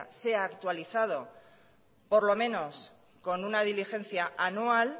sea actualizado por lo menos con una diligencia anual